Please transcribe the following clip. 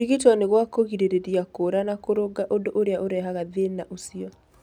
Kũrigitwo nĩ gwa kũgirĩrĩria kuura na kũrũnga ũndũ ũrĩa ũrehaga thĩna ũcio.